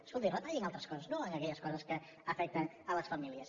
escoltin retallin altres coses no en aquelles coses que afecten les famílies